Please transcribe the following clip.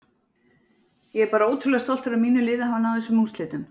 Ég er bara ótrúlega stoltur af mínu liði að hafa náð þessum úrslitum.